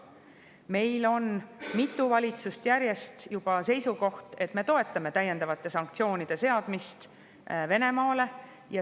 Meil on juba mitu valitsust järjest seisukohal, et me toetame täiendavate sanktsioonide seadmist Venemaale.